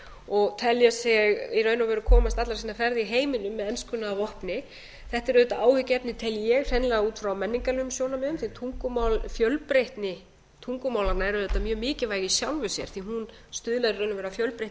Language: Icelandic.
og telja sig í raun og veru komast allra sinna ferða í heiminum með enskuna að vopni þetta er auðvitað áhyggjuefni tel ég hreinlega út frá menningarlegum sjónarmiðum því tungumál fjölbreytni tungumálanna er auðvitað mjög mikilvæg í sjálfu sér því hún stuðlar í raun og veru að fjölbreytni í